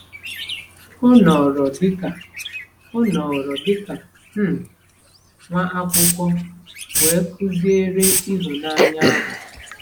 O nọrọ dịka O nọrọ dịka um nwaakwụkwọ wee kụziere ịhụnanya ahụ.